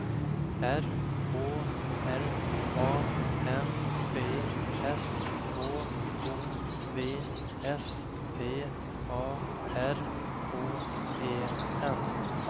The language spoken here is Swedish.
R Å L A M B S H O V S P A R K E N